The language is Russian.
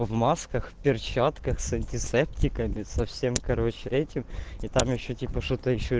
в масках перчатках с антисептиками совсем короче этим и там ещё типа что-то ещё